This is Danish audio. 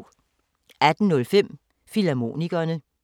18:05: Filmharmonikerne